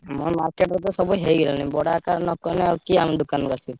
ଆମ market ରେ ତ ସବୁ ହେଇଗଲାଣି| ବଡ ଆକାରରେ ନକଲେ କିଏ ଆମ ଦୋକାନକୁ ଆସିବ?